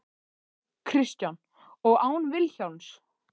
Kristján: Og án Vilhjálms?